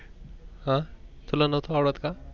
हा तुला नव्हतं आवडत का?